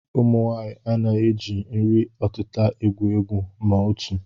Ụmụnwaanyị anaghị eji nri ọtịta egwu egwu ma otu